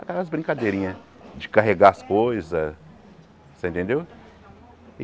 Aquelas brincadeirinhas de carregar as coisas, você entendeu?